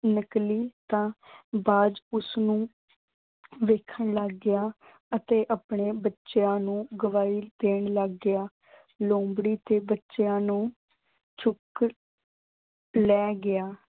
ਨਿਕਲੀ ਤਾਂ ਬਾਜ ਉਸਨੂੰ ਦੇਖਣ ਲੱਗ ਗਿਆ ਅਤੇ ਆਪਣੇ ਬੱਚਿਆਂ ਨੂੰ ਦੇਣ ਲੱਗ ਗਿਆ। ਲੂੰਬੜੀ ਦੇ ਬੱਚਿਆਂ ਨੂੰ ਚੁੱਕ ਲੈ ਗਿਆ।